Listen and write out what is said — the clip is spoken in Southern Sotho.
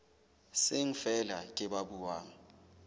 seng feela ke ba buang